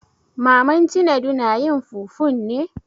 Maman Cinedu na yin fufun ne?